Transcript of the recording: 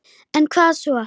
En hvað svo?